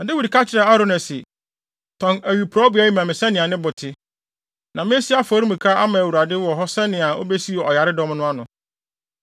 Na Dawid ka kyerɛɛ Arauna se, “Tɔn awiporowbea yi ma me sɛnea ne bo te. Na mesi afɔremuka ama Awurade wɔ hɔ sɛnea obesiw ɔyaredɔm no ano.”